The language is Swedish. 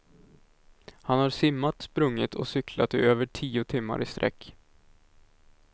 Han har simmat, sprungit och cyklat i över tio timmar i sträck.